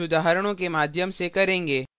हम इसे कुछ उदाहरणों के माध्यम से करेंगे